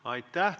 Aitäh!